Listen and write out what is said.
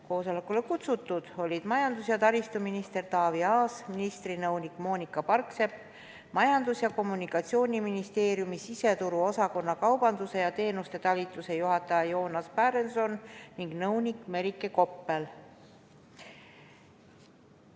Koosolekule olid ka kutsutud majandus- ja taristuminister Taavi Aas, ministri nõunik Moonika Parksepp, Majandus- ja Kommunikatsiooniministeeriumi siseturuosakonna kaubanduse ja teenuste talituse juhataja Joonas Pärenson ning nõunik Merike Koppel.